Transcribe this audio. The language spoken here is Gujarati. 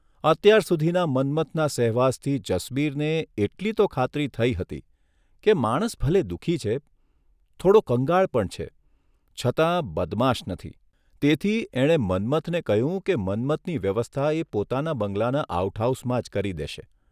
અત્યારસુધીના મન્મથનના સહેવાસથી જસબીરને એટલી તો ખાતરી થઇ હતી કે માણસ ભલે દુઃખી છે, થોડો કંગાળ પણ છે, છતાં બદમાશ નથી તેથી એણે મન્મથને કહ્યું કે મન્મથની વ્યવસ્થા એ પોતાના બંગલાના આઉટ હાઉસમાં જ કરી દેશે.